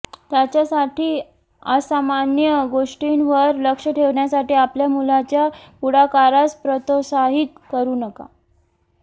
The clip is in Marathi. त्याच्यासाठी असामान्य गोष्टींवर लक्ष ठेवण्यासाठी आपल्या मुलाच्या पुढाकारास प्रोत्साहित करू नका